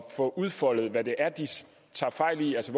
få udfoldet hvad det er de tager fejl i altså